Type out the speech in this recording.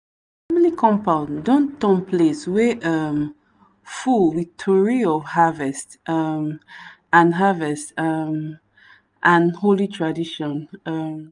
compound don turn place wey um full with tori of harvest um and harvest um and holy tradition. um